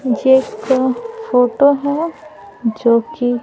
जे क फोटो हैं जो कि --